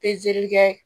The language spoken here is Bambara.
Pezeli kɛ